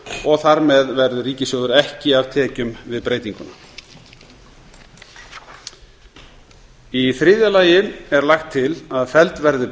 og þar með verður ríkissjóður ekki af tekjum við breytinguna í þriðja lagi er lagt til að felld verði